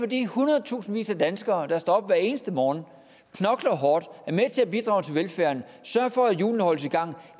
de hundredtusindvis af danskere der står op hver eneste morgen knokler hårdt er med til at bidrage til velfærden og sørger for at hjulene holdes i gang